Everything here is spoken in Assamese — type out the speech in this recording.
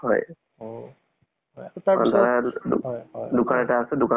assam police ৰ হেৰি দিয়া নাছিলো। কিন্তু এই forth grade টোত কৰিছিলো যে।